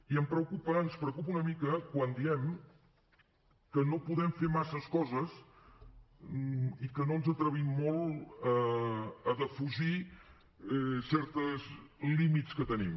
i em preocupa ens preocupa una mica quan diem que no podem fer massa coses i que no ens atrevim molt a defugir certs límits que tenim